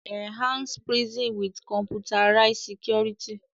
Enhance prison with computerized security